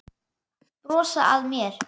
Brosa að mér!